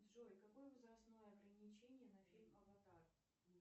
джой какое возрастное ограничение на фильм аватар